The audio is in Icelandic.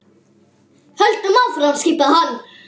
Höldum áfram skipaði hann.